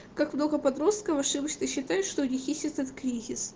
как много подростков ошибочно считать что у них есть этот кризис